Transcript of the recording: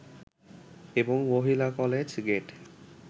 এবং মহিলা college gate